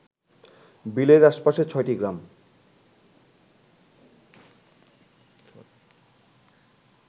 বিলের আশেপাশের ছয়টি গ্রাম